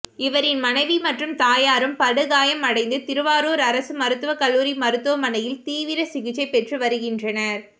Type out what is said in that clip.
இவரின் மனைவி மற்றும் தாயாரும் படுகாயமடைந்து திருவாரூர் அரசு மருத்துவக்கல்லூரி மருத்துவமனையில் தீவிர சிகிச்சை பெற்று வருகின்றனர்